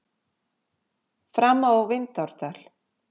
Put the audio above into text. Fram á Vindárdal.